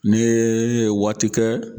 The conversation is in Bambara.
N'i ye waati kɛ